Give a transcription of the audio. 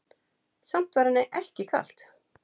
Samt var henni ekki kalt.